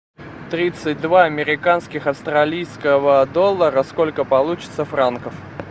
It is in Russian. тридцать два американских австралийского доллара сколько получится франков